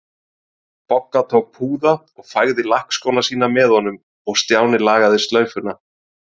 Bogga tók púða og fægði lakkskóna sína með honum og Stjáni lagaði slaufuna.